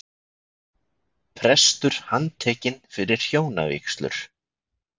Prestur handtekinn fyrir hjónavígslur